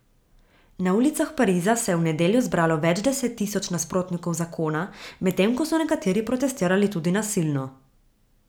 Na ulicah Pariza se je v nedeljo zbralo več deset tisoč nasprotnikov zakona, medtem ko so nekateri protestirali tudi nasilno.